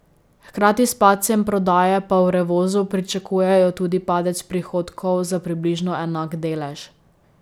Hkrati s padcem prodaje pa v Revozu pričakujejo tudi padec prihodkov za približno enak delež.